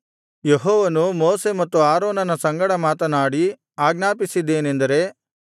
ಯೆಹೋವನು ಮೋಶೆ ಮತ್ತು ಆರೋನನ ಸಂಗಡ ಮಾತನಾಡಿ ಆಜ್ಞಾಪಿಸಿದ್ದೇನೆಂದರೆ